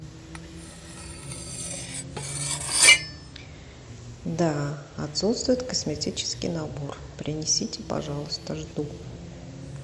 да отсутствует косметический набор принесите пожалуйста жду